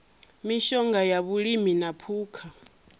mishonga ya vhulimi na phukha